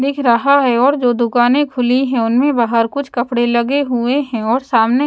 दिख रहा है और जो दुकानें खुली हैं उनमें बाहर कुछ कपड़े लगे हुए हैं और सामने--